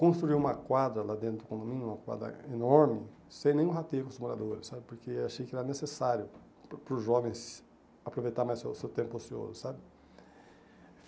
Construí uma quadra lá dentro do condomínio, uma quadra enorme, sem nenhum rateio com os moradores, sabe, porque achei que era necessário para o para os jovens aproveitarem mais o seu seu tempo ocioso, sabe.